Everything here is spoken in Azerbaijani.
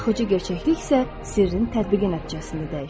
Axıcı gerçəklik isə sirrin tətbiqi nəticəsində dəyişir.